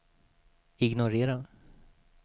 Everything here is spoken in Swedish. ignorera